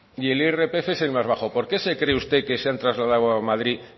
y el irpf es el más bajo por qué se cree usted que se han trasladado a madrid